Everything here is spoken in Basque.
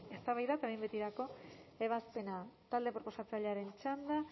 eztabaida eta behin betiko ebazpena talde proposatzailearen txanda